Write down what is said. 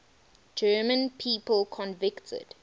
german people convicted